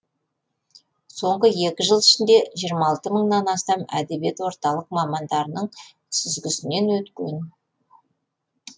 соңғы екі жыл ішінде жиырма алты мыңнан астам әдебиет орталық мамандарының сүзгісінен өткен